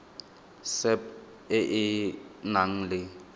sap e e nang le